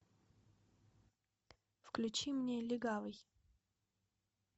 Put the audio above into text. включи мне легавый